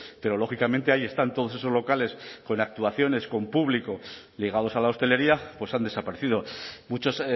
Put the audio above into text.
pero lógicamente ahí están todos esos locales con actuaciones con público ligados a la hostelería pues han desaparecido muchos